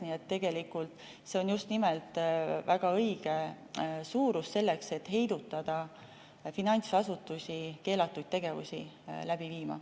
Nii et tegelikult see on just nimelt väga õige suurus selleks, et heidutada finantsasutusi keelatud tegevusi läbi viimast.